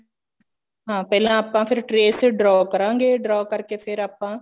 ਹਾਂ ਪਹਿਲਾਂ ਆਪਾਂ ਹਾਂ trace ਤੇ draw ਕਰਾਂਗੇ draw ਕਰਕੇ ਫੇਰ ਆਪਾਂ